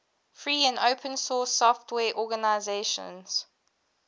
free and open source software organizations